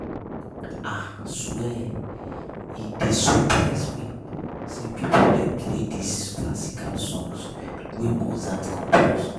Ah swear, e dey surprise me sey people dey play dis classical songs wey Mozart compose.